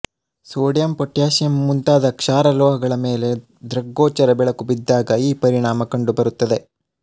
sodium potassium ಮುಂತಾದ ಕ್ಷಾರ ಲೋಹಗಳ ಮೇಲೆ ದೃಗ್ಗೋಚರ ಬೆಳಕು ಬಿದ್ದಾಗ ಈ ಪರಿಣಾಮ ಕಂಡು ಬರುತ್ತದೆ